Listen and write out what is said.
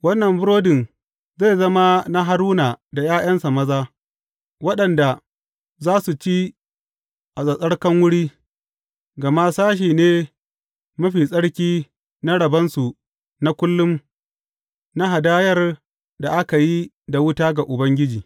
Wannan burodin zai zama na Haruna da ’ya’yansa maza, waɗanda za su ci a tsattsarkan wuri, gama sashe ne mafi tsarki na rabonsu na kullum na hadayar da aka yi da wuta ga Ubangiji.